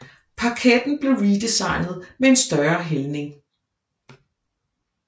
Parketten blev redesignet med en større hældning